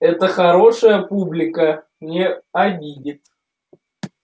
это хорошая публика не обидит